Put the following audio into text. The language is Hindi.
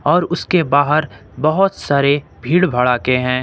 और उसके बाहर बहुत सारे भीड़ भटके हैं।